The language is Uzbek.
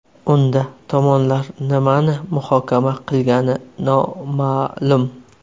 Unda tomonlar nimani muhokama qilgani noma’lum.